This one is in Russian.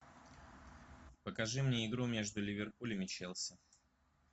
покажи мне игру между ливерпулем и челси